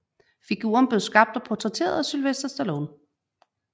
Figuren blev skabt og portrætteret af Sylvester Stallone